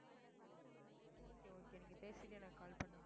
உம் okay okay நீங்க பேசிட்டு எனக்கு call பண்ணுங்க